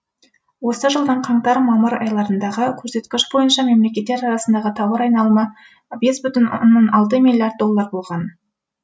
осы жылдың қаңтар мамыр айларындағы көрсеткіш бойынша мемлекеттер арасындағы тауар айналымы бес бүтін оннан алты миллиард доллар болған